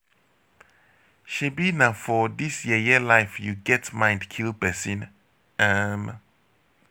shebi na for dis yeye life you get mind kill person. um